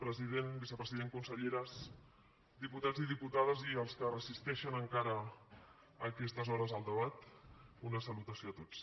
president vicepresident conselleres diputats i diputades i els que resisteixen encara a aquestes hores el debat una salutació a tots